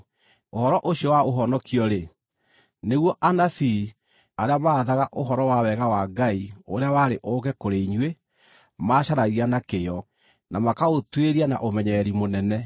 Ũhoro ũcio wa ũhonokio-rĩ, nĩguo anabii, arĩa maarathaga ũhoro wa wega wa Ngai ũrĩa warĩ ũũke kũrĩ inyuĩ, maacaragia na kĩyo, na makaũtuĩria na ũmenyereri mũnene,